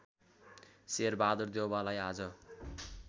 शेरबहादुर देउवालाई आज